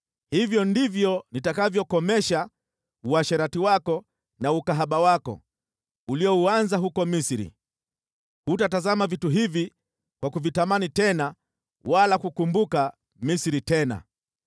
Hivyo ndivyo nitakavyokomesha uasherati wako na ukahaba wako uliouanza huko Misri. Hutatazama vitu hivi kwa kuvitamani tena, wala kukumbuka Misri tena.